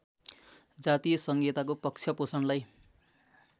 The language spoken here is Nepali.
जातीय सङ्घीयताको पक्षपोषणलाई